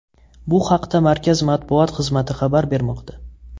Bu haqda markaz matbuot xizmati xabar bermoqda.